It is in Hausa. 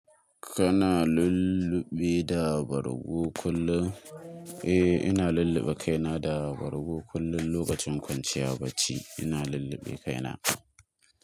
Kana lulluɓe da bargo kullum? Eh, ina lulluɓe kaina da wargi kullum lokacin kwanciya bacci ina lulluɓe kaina.